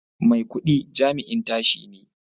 Maikudi jami'in tashi ne